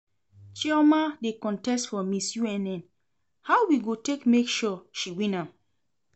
Chioma dey contest for Miss UNN, how we go take make sure she win am?